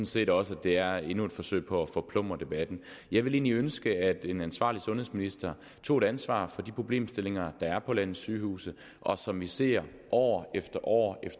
set også at det er endnu et forsøg på at forplumre debatten jeg ville egentlig ønske at en ansvarlig sundhedsminister tog et ansvar for de problemstillinger der er på landets sygehuse og som vi ser år efter år